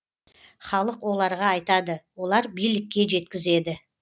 халық оларға айтады олар билікке жеткізеді